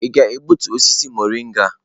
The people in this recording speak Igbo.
Ị ga-egbutu osisi mọrịnga?